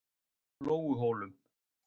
Lóuhólum